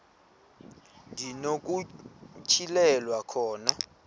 ndi nokutyhilelwa khona